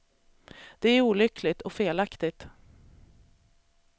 Det är olyckligt, och felaktigt.